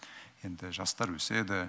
енді жастар өседі